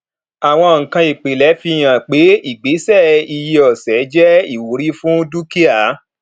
àwọn nǹkan ìpìlẹ fi hàn pé ìgbésẹ iye ọsẹ jé ìwúrí fún dúkìá